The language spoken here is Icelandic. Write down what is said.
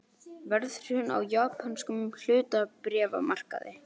Verðhrun á japönskum hlutabréfamarkaði